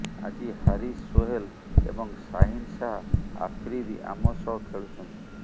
ଆଜି ହାରିସ୍ ସୋହେଲ୍ ଏବଂ ସାହିନ୍ ଶାହା ଆଫ୍ରିଦି ଆମ ସହ ଖେଳୁଛନ୍ତି